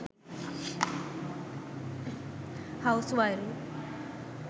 house wiring